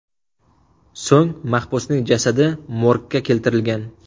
So‘ng mahbusning jasadi morgga keltirilgan.